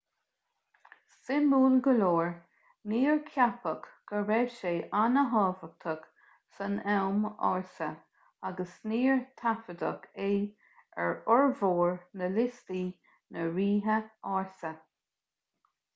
suimiúil go leor níor ceapadh go raibh sé an-tábhachtach san am ársa agus níor taifeadadh é ar fhormhór na liostaí na ríthe ársa